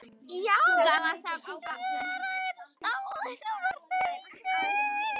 Já, svaraði snáðinn og var hlaupinn.